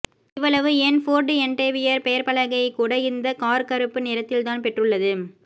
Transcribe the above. இவ்வளவு ஏன் Ford Endeavour பெயர்பலகையை கூட இந்த கார் கருப்பு நிறத்தில்தான் பெற்றுள்ளது